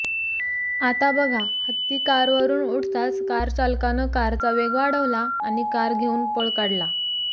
आता बघा हत्ती कारवरून उठताच कारचालकानं कारचा वेग वाढवला आणि कार घेऊन पळ काढला